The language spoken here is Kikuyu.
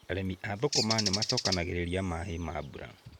Arĩmi a thũkũma nĩ macokanagĩrĩria maaĩ ma mbura.